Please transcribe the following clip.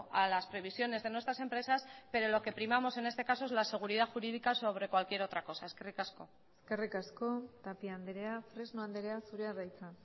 a las previsiones de nuestras empresas pero lo que primamos en este caso es la seguridad jurídica sobre cualquier otra cosa eskerrik asko eskerrik asko tapia andrea fresno andrea zurea da hitza